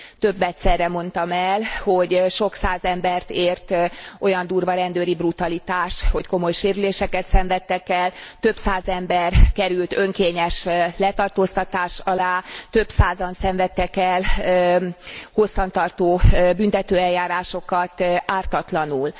Többedszerre mondtam el, hogy sok száz embert ért olyan durva rendőri brutalitás, hogy komoly sérüléseket szenvedtek el, több száz ember került önkényes letartóztatás alá, több százan szenvedtek el hosszan tartó büntetőeljárásokat ártatlanul.